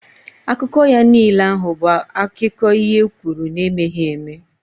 Akụkọ ya niile ahụ bụ akiko ihe e kwuru na emeghị eme